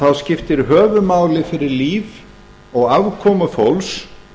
þá skiptir höfuðmáli fyrir líf og afkomu fólks